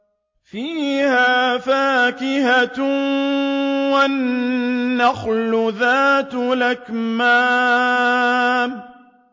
فِيهَا فَاكِهَةٌ وَالنَّخْلُ ذَاتُ الْأَكْمَامِ